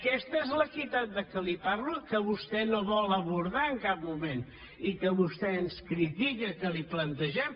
aquesta és l’equitat de què li parlo que vostè no vol abordar en cap moment i que vostè ens critica que li plantegem